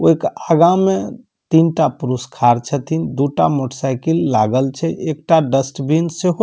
वो एक आगा में तीनटा पुरुष खाड़ छथिन दू टा मोटर साइकिल लागल छै एकटा डस्टबिन छै ओ --